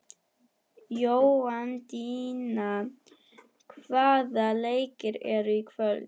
Jóhanndína, hvaða leikir eru í kvöld?